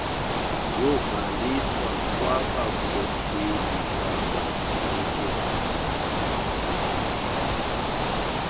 yokubhaliswa kwabakhokeli babakhenketh